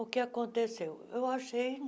O que aconteceu? eu achei